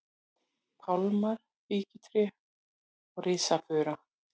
pálmar, fíkjutré og risafura.